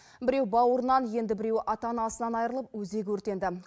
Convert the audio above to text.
біреу бауырынан енді біреуі ата анасынан айырылып өзегі өртенді